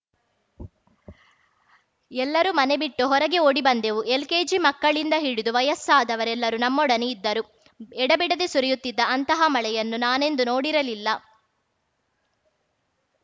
ಎಲ್ಲರೂ ಮನೆ ಬಿಟ್ಟು ಹೊರಗೆ ಓಡಿ ಬಂದೆವು ಎಲ್‌ಕೆಜಿ ಮಕ್ಕಳಿಂದ ಹಿಡಿದು ವಯಸ್ಸಾದವರೆಲ್ಲರೂ ನಮ್ಮೊಡನೆ ಇದ್ದರು ಎಡೆಬಿಡದೆ ಸುರಿಯುತ್ತಿದ್ದ ಅಂತಹ ಮಳೆಯನ್ನು ನಾನೆಂದೂ ನೋಡಿರಲಿಲ್ಲ